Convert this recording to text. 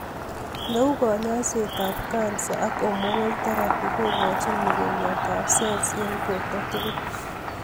Neu Kanyaiset ap kansa ak hormonal therapy kogochi mogongiot ab cells en borto tugul